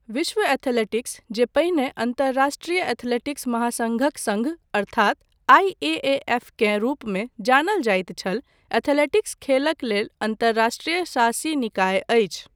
विश्व एथलेटिक्स, जे पहिने अन्तर्राष्ट्रीय एथलेटिक्स महासङ्घक सङ्घ अर्थात आई.ए.ए.एफ केँ रूपमे जानल जाइत छल एथलेटिक्स खेलक लेल अन्तर्राष्ट्रीय शासी निकाय अछि।